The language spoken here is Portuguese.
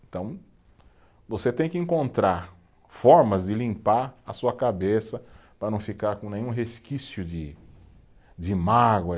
Então, você tem que encontrar formas de limpar a sua cabeça para não ficar com nenhum resquício de de mágoa.